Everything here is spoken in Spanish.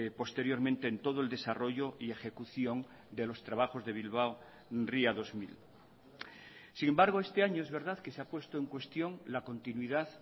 posteriormente en todo el desarrollo y ejecución de los trabajos de bilbao ría dos mil sin embargo este año es verdad que se ha puesto en cuestión la continuidad